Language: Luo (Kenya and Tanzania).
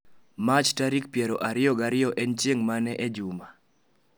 Mach tarik piero ariyo ya ariyo en chieng' mane e juma